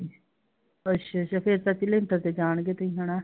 ਅੱਛਾ ਅੱਛਾ ਫੇਰ ਚਾਚੀ ਲੈਂਟਰ ਤੇ ਜਾਣਗੇ ਤੁਸੀਂ ਹਨਾ?